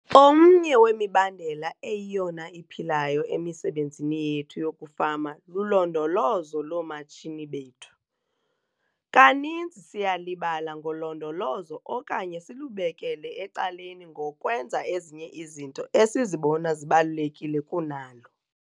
OMNYE WEMIBANDELA EYIYONA IPHILAYO EMISEBENZINI YETHU YOKUFAMA LULONDOLOZO LOOMATSHINI BETHU. KANINZI SIYALIBALA NGOLONDOLOZO OKANYE SILUBEKELE ECALENI NGOKWENZA EZINYE IZINTO ESIZIBONA ZIBALULEKILE KUNALO!